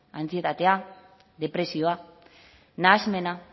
antsietatea depresioa nahasmena